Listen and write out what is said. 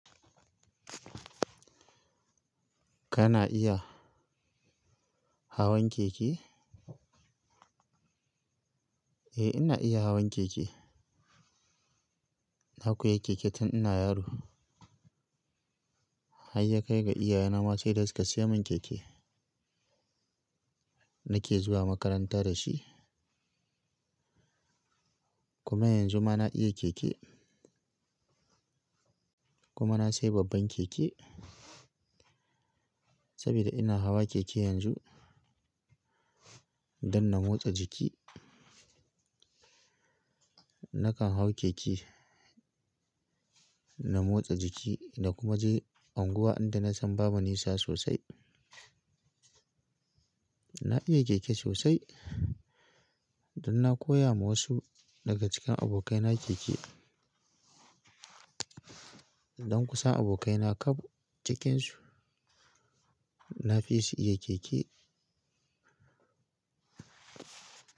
Kana iya hawan keke? Eh, ina iya hawan keke. Na koyi keke tun ina yaro. Har ya kai ga iyayena ma sai da suka siya min keke. Nake zuwa makaranta da shi. Kuma yanzu ma na iya keke. Kuma na sayi babban keke sabida ina hawa keke yanzu don na motsa jiki. Nakan hau keke na motsa jiki na kuma je unguwa inda na san babu nisa sosai. Na iya keke sosai don na koya ma wasu daga cikin abokaina keke. Don kusan abokaina kaf cikin su, na fi su iya keke.